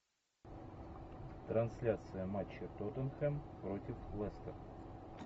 трансляция матча тоттенхэм против лестер